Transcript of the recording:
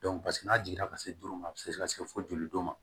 n'a jiginna ka se don ma a bɛ se ka se fo joli don ma